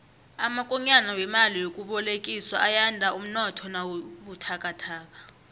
amakonyana wemali yokubolekiswa ayanda umnotho nawubuthakathaka